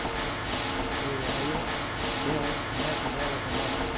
E aí eu... Tem um neto dela que mora aqui.